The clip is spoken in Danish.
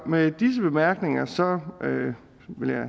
med disse bemærkninger vil jeg